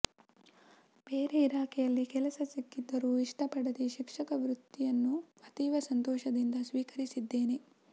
ಬೇರೆ ಇಲಾಖೆಯಲ್ಲಿ ಕೆಲಸ ಸಿಕ್ಕಿದರೂ ಇಷ್ಟ ಪಡದೇ ಶಿಕ್ಷಕ ವೃತ್ತಿಯನ್ನು ಅತೀವ ಸಂತೋಷದಿಂದ ಸ್ವೀಕರಿಸಿದ್ದೇನೆ